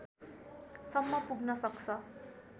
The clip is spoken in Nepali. सम्म पुग्न सक्छ